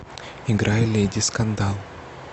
играй леди скандал